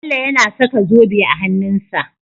Bello yAna saka zobe a hanun sa